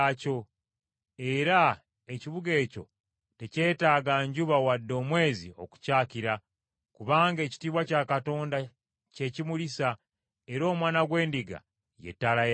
Era ekibuga ekyo tekyetaaga njuba wadde omwezi okukyakira, kubanga ekitiibwa kya Katonda kye kikimulisa, era Omwana gw’Endiga ye ttabaaza yaakyo.